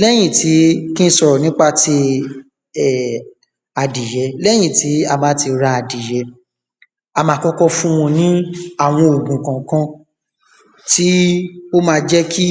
léyìn tí, ki n sòrò nípa ti um adìjẹ, léyìn tí a bá ti ra adìyẹ a ma kọ́kọ́ fún wọn ní àwọn ògùn kànkan tí ó ma jẹ kí